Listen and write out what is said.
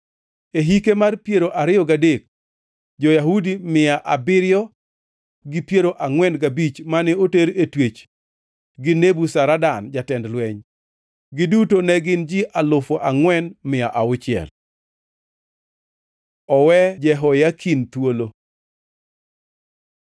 e hike mar piero ariyo gadek, jo-Yahudi mia abiriyo gi piero angʼwen gabich mane oter e twech gi Nebuzaradan jatend lweny. Giduto ne gin ji alufu angʼwen mia auchiel. Owe Jehoyakin thuolo